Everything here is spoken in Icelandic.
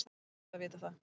Það er gott að vita það.